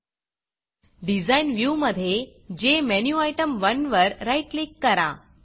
Designडिज़ाइन व्ह्यूमधे जेमेन्युटेम1 वर राईट क्लिक करा